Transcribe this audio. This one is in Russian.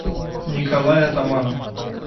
николай атаманов